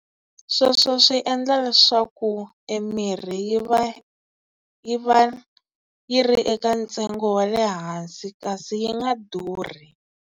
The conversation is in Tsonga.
Sweswo swi endla leswaku e mirhi yi va yi va yi ri eka ntsengo wa le hansi kasi yi nga durhi.